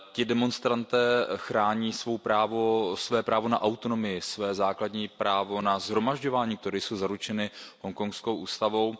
Demonstranti chrání své právo na autonomii, své základní právo na shromažďování, které jsou zaručeny hongkongskou ústavou.